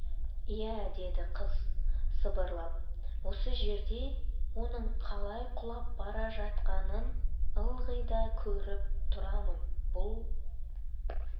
иә деді қыз сыбырлап осы жерде оның қалай құлап бара жатқанын ылғи да көріп тұрамын бұл